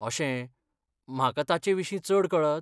अशें, म्हाका तांचे विशीं चड कळत?